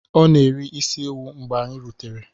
O na-eri isi ewu mgbe anyi rutere.